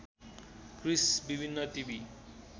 Chris विभिन्न TV